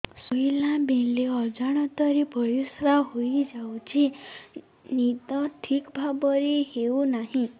ଶୋଇଲା ବେଳେ ଅଜାଣତରେ ପରିସ୍ରା ହୋଇଯାଉଛି ନିଦ ଠିକ ଭାବରେ ହେଉ ନାହିଁ